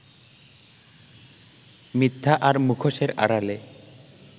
মিথ্যা আর মুখোশের আড়ালে